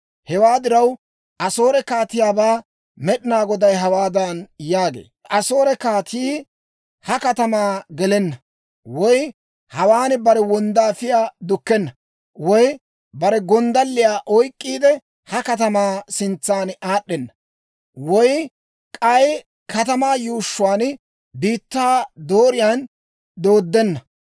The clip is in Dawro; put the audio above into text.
«Hewaa diraw, Asoore kaatiyaabaa Med'inaa Goday hawaadan yaagee; ‹Asoore kaatii ha katamaa gelenna; woy hawaan bare wonddaafiyaa dukkenna; woy bare gonddalliyaa oyk'k'iide, ha katamaa sintsa aad'd'enna; woy k'ay katamaa yuushshuwaa biittaa dooriyaan dooddena.